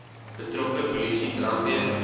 betrokke polisie brandweer